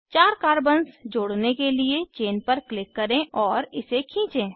चार कार्बन्स जोड़ने के लिए चेन पर क्लिक करें और इसे खींचें